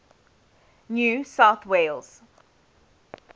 new south wales